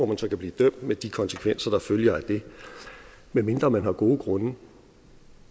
man så kan blive dømt med de konsekvenser der følger af det medmindre man har gode grunde